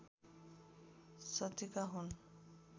शतीका हुन्